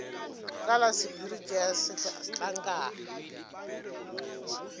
ka la sephiri tšea setlankana